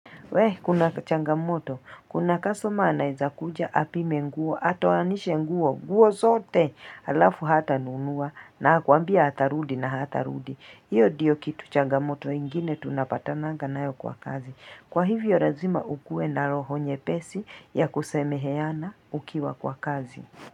Wee, kuna changamoto, kuna kastoma anaeza kuja apime nguo, atoanishe nguo, nguo zote, alafu hatanunua, na akwambia atarudi na hatarudi. Hiyo ndiyo changamoto ingine tunapatananga nayo kwa kazi. Kwa hivyo lazima ukuwe na roho nyepesi ya kusemeheana ukiwa kwa kazi.